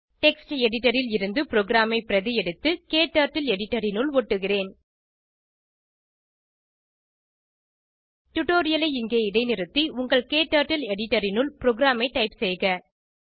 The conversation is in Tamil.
டெக்ஸ்ட் எடிட்டர் ல் இருந்து ப்ரோகிராமை பிரதி எடுத்து க்டர்ட்டில் எடிட்டர் னுள் ஒட்டுகிறேன் டுடோரியலை இங்கே இடைநிறுத்தி உங்கள் க்டர்ட்டில் எடிட்டர் னுள் ப்ரோகிராமை டைப் செய்க